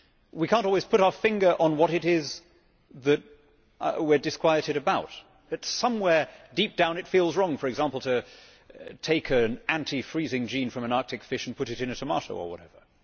We cannot always put our finger on what it is that we are disquieted about, but somewhere deep down it feels wrong, for example to take an anti freezing gene from an Arctic fish and put it in a tomato or whatever.